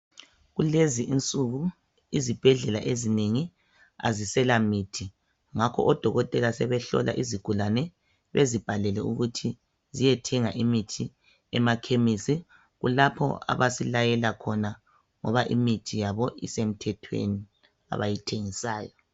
Kulezi insuku izibhedlela ezinengi azisela mithi, ngakho odokotela sebehlola izigulani bezibhalele ukuthi ziyethenga imithi emakhemesi. Kulapho abasilayela khona ngoba imithi yabo isemthethweni abayithengisayo.